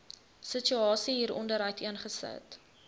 situasie hieronder uiteengesit